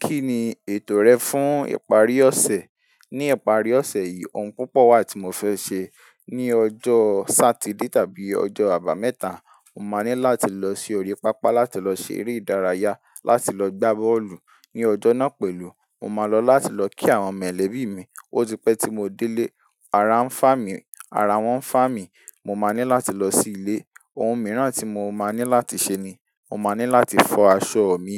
Kí ni ètò rẹ fún ìparí ọ̀sẹ̀? Ní ìparí ọ̀sẹ̀ yìí, ohun púpọ̀ wa tí mo fẹ́ ṣe. Ni ọjọ́ Sátidé tàbí ọjọ́ àbámẹ́ta, mo máa ní láti lọ sí orí pápá láti lọ ṣe eré ìdárayá, láti lọ gbá bọ́ọ̀lù. Ni ọjọ́ náà pẹ̀lú, mo máa lọ láti lọ kí àwọn mẹ̀lẹ̀bí mi. Ó ti pẹ́ tí mo dé lé, ara ń fà mí, ara wọ́n ń fà mí. Mo máa ní láti lọ sí ilé. Ohun mìíràn tí mo máa ní láti ṣe ni, mo máa ní láti fọ aṣọ mi.